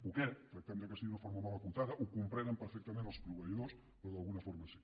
poquet tractem que sigui d’una forma molt acotada ho comprenen perfectament els proveïdors però d’alguna forma sí